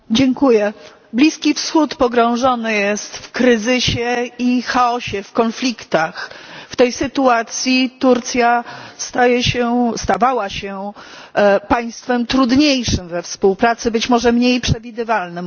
Pani Przewodnicząca! Bliski Wschód pogrążony jest w kryzysie i chaosie, w konfliktach. W tej sytuacji Turcja staje się, stawała się państwem trudniejszym we współpracy, być może mniej przewidywalnym.